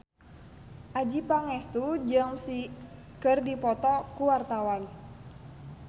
Adjie Pangestu jeung Psy keur dipoto ku wartawan